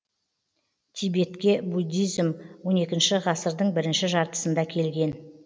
тибетке буддизм он екінші ғасырдың бірінші жартысында келген